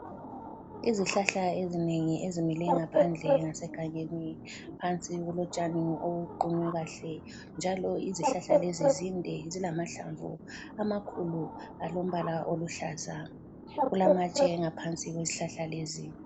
Izihlahla ezinengi ezimileyo ngaphandle ngase gangeni phansi kulotshani obuqunywe kahle, njalo izihlala lezi zinde zilamahlamvu amakhulu alombala oluhlaza, kulamatshe ngaphansi kwezihlahla lezi.